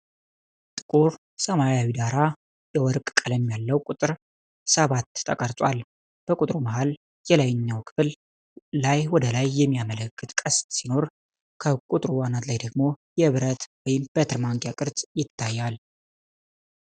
ጥቁር ሰማያዊ ዳራ ላይ የወርቅ ቀለም ያለው ቁጥር ሰባት ተቀርጿል። በቁጥሩ መሃል የላይኛው ክፍል ላይ ወደ ላይ የሚያመለክት ቀስት ሲኖር፣ ከቁጥሩ አናት ላይ ደግሞ የብረት በትር/ማንኪያ ቅርጽ ይታያል።